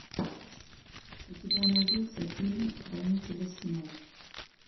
у тебя найдется фильм хранители снов